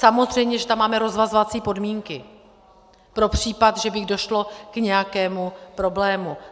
Samozřejmě že tam máme rozvazovací podmínky pro případ, že by došlo k nějakému problému.